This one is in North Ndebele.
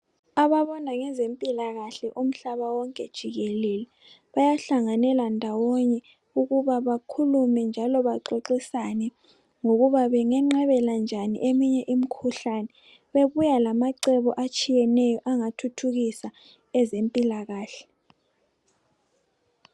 ababona ngezempilakahle umhlaba wonke jikelele bayahlanganela ndawonye ukuba bakhulume njalo baxoxisane ngokuba benganqabela njani eminye imkhuhlane bebuya lamace atshiyeneyo ukuthuthukisa ezempilakahle